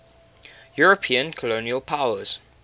european colonial powers